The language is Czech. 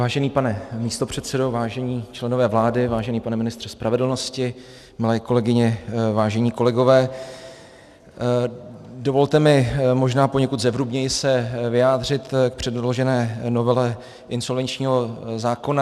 Vážený pane místopředsedo, vážení členové vlády, vážený pane ministře spravedlnosti, milé kolegyně, vážení kolegové, dovolte mi možná poněkud zevrubněji se vyjádřit k předložené novele insolvenčního zákona.